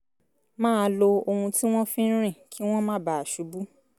máa lo ohun tí wọ́n fi ń rìn kí wọ́n má bàa ṣubú